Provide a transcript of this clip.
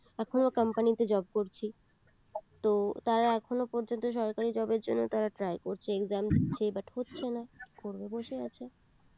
এখনো company তে job করছি তো তারা এখনো পর্যন্ত সরকারী job এর জন্য তারা try করছে exam দিচ্ছে but হচ্ছে না কি করবে বসে আছে